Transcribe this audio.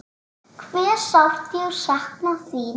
Hve sárt ég sakna þín.